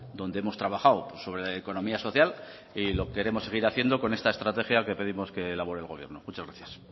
donde hemos trabajado sobre economía social y lo queremos seguir haciendo con esta estrategia que pedimos que elabore el gobierno muchas gracias